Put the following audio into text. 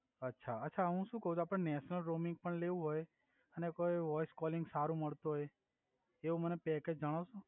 અછા અછા હુ સુ કવ છુ આપડે નેશનલ રોમીંગ પણ લેવુ હોય અને કોઇ વોઇસ કોલિંગ સારુ મળતું હોય એવુ મને પેકેજ જણાવસો